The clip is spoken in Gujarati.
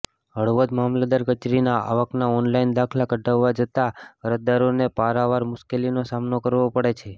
હળવદ મામલતદાર કચેરીમાં આવકના ઓનલાઇન દાખલા કઢાવવા જતા અરજદારોને પારાવાર મુશ્કેલીનો સામનો કરવો પડે છે